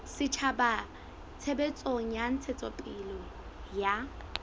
setjhaba tshebetsong ya ntshetsopele ya